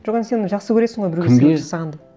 жоқ енді сен жақсы көресің ғой біреуге кімге сыйлық жасағанды